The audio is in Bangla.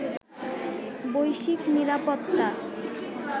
বৈশ্বিক নিরাপত্তা